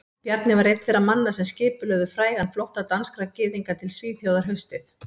Bjarni var einn þeirra manna sem skipulögðu frægan flótta danskra gyðinga til Svíþjóðar haustið